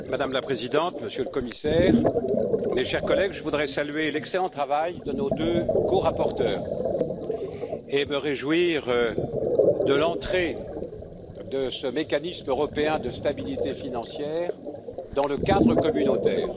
Madame la Présidente, Monsieur le Commissaire, mes chers collègues, je voudrais saluer l'excellent travail de nos deux corapporteurs et me réjouir de l'entrée de ce mécanisme européen de stabilité financière dans le cadre communautaire.